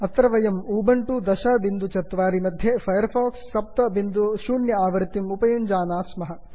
अत्र वयम् उबण्टु 1004 मध्ये फैर् फाक्स् 70 आवृत्तिम् उपयुञ्ज्महे